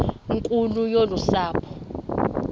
nkulu yolu sapho